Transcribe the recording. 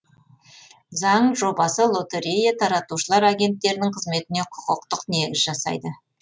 заң жобасы лотерея таратушылар агенттерінің қызметіне құқықтық негіз жасайды